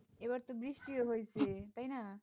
এবার তো বৃষ্টি হয়েছে তাই না?